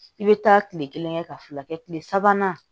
I bɛ taa tile kelen kɛ ka fila kɛ tile sabanan